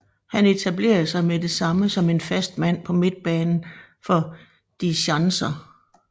Han etablerede sig med det samme som en fast mand på midtbanen for Die Schanzer